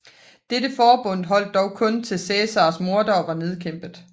Dette forbund holdt dog kun til Cæsars mordere var nedkæmpet